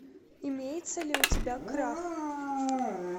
имеется ли у тебя крах